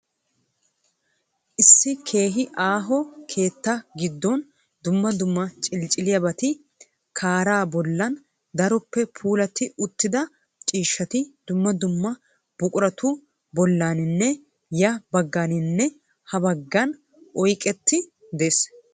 Issi keehi aaho keettaa giddooni dumma dumma ciliciliyaabati kaaraa bollan, daroppe puulatti uttida ciishshati dumma dumma buquratu bollaninne ya baggaaninne ha baggan oyideekka des.